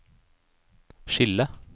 skille